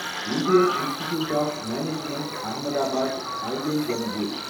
Indian institute of management Ahmedabad, IIMA